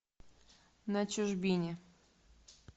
на чужбине